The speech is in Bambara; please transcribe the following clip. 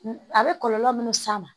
A bɛ kɔlɔlɔ minnu s'a ma